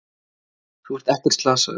Þú ert ekkert slasaður.